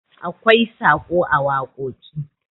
akwai Saƙo a wakoki